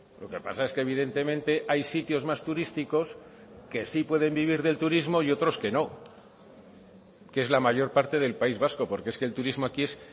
lo que pasa es que evidentemente hay sitios más turísticos que sí pueden vivir del turismo y otros que no que es la mayor parte del país vasco porque es que el turismo aquí es